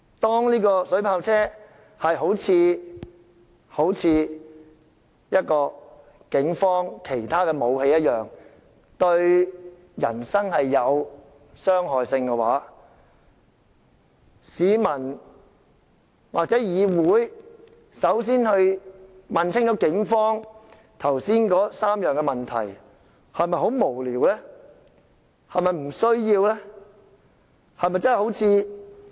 當水炮車一如警方其他武器會對人身造成傷害，市民或立法會向警方問過明白，又是否真的很無聊和沒有必要？